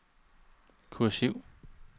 kursiv